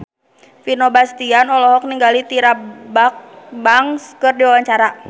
Vino Bastian olohok ningali Tyra Banks keur diwawancara